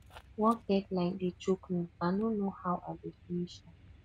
work deadline dey choke me i no know how i go finish am